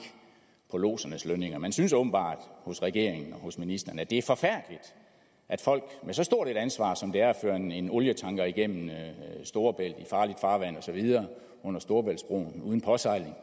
på lodsernes lønninger man synes åbenbart hos regeringen og hos ministeren at det er forfærdeligt at folk med så stort et ansvar som det er at føre en en olietanker igennem storebælt under storebæltsbroen uden påsejling